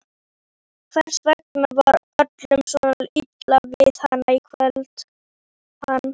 Hvers vegna var öllum svona illa við hann í kvöld?